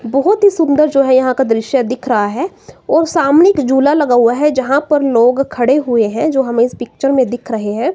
बहुत ही सुंदर जो है यहां का दृश्य दिख रहा है और सामने एक झूला लगा हुआ है। जहां पर लोग खड़े हुए हैं जो हमें इस पिक्चर मे दिख रहे हैं।